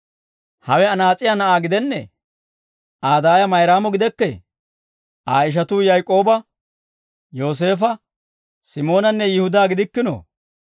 Hawe anaas'iyaa na'aa gidennee? Aa daaya Mayraamo gidekkee? Aa ishatuu Yaak'ooba, Yooseefo, Simoonanne Yihudaa gidikkinoo?